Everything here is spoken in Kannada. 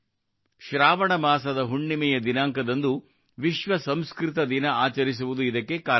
ಶ್ರಾವಣ ಮಾಸದ ಹುಣ್ಣಿಮೆಯ ದಿನಾಂಕದಂದು ವಿಶ್ವ ಸಂಸ್ಕೃತ ದಿನ ಆಚರಿಸುವುದು ಇದಕ್ಕೆ ಕಾರಣವಾಗಿದೆ